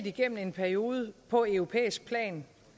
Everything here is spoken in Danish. igennem en periode på europæisk plan